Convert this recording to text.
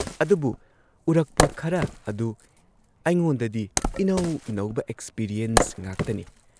ꯑꯗꯨꯕꯨ ꯎꯔꯛꯄ ꯈꯔ ꯑꯗꯨ ꯑꯩꯉꯣꯟꯗꯗꯤ ꯏꯅꯧ ꯅꯧꯕ ꯑꯦꯛꯁꯄꯤꯔꯤꯌꯦꯟꯁ ꯉꯥꯛꯅꯤ ꯫